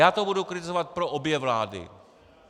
Já to budu kritizovat pro obě vlády.